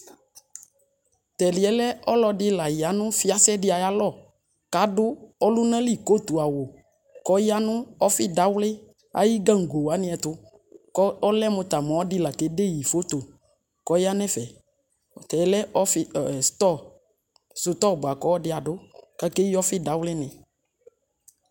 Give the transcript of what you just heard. tɛdiɛ lɛ ɔlɔdi la ya no fiase de ayalɔ kado ɔlona li kotu awo kɔya no ɔfe dawle aye gango wane ɛto ko ɔlɛ mo ɔlɔdi la ke de yi foto kɔya no ɛfɛ Tɛ lɛ sotɔ boa ko ɔlɔdi ado ko akeyi ɔfe dawle nɛ